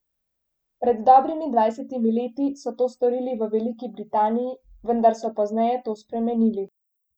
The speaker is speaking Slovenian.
Pred dobrimi dvajsetimi leti so to storili v Veliki Britaniji, vendar so pozneje to spremenili.